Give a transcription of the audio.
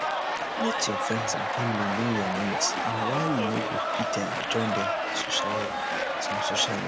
let your friends and family know your needs and why you no go fit um join them for some social events